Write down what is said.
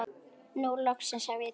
Nú loksins hef ég tíma.